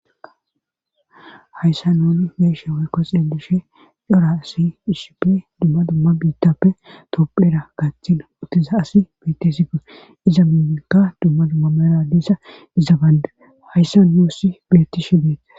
Hayssa nooni beesha weykkoxe dushe dora asi hisipp dumma dumma biittappe topphera gaaththina uttiza asi bettesi goe iza miminka dumma dumma mera diissa iza bande hayssa noosi betti shi beettes